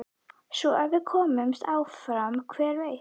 Svo ef við komumst áfram hver veit?